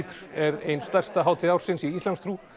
er ein stærsta hátíð ársins í íslamstrú